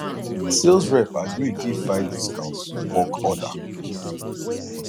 sales rep agree give five discount for bulk order